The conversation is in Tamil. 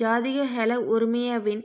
ஜாதிக ஹெல உறுமயவின்